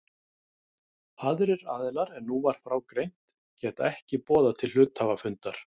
Aðrir aðilar en nú var frá greint geta ekki boðað til hluthafafundar.